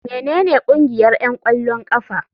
Menene ƙungiyar 'yan ƙwallon ƙafa?